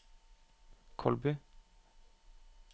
Kolbu